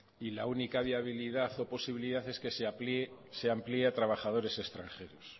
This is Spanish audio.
y la única viabilidad o posibilidad es que se amplíe a trabajadores extranjeros